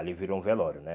Ali virou um velório, né?